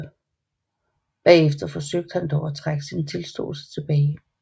Bagefter forsøgte han dog at trække sin tilståelse tilbage